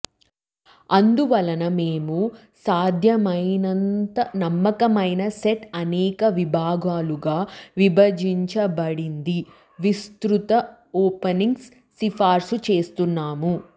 అందువలన మేము సాధ్యమైనంత నమ్మకమైన సెట్ అనేక విభాగాలుగా విభజించబడింది విస్తృత ఓపెనింగ్ సిఫార్సు చేస్తున్నాము